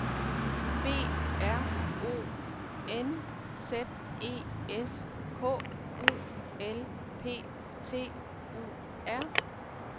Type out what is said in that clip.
B R O N Z E S K U L P T U R